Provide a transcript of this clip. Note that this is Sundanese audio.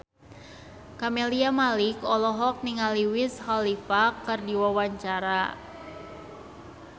Camelia Malik olohok ningali Wiz Khalifa keur diwawancara